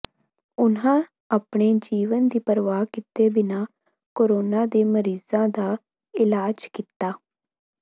ਉਨ੍ਹਾਂ ਆਪਣੇ ਜੀਵਨ ਦੀ ਪਰਵਾਹ ਕੀਤੇ ਬਿਨਾਂ ਕੋਰੋਨਾ ਦੇ ਮਰੀਜ਼ਾਂ ਦਾ ਇਲਾਜ ਕੀਤਾ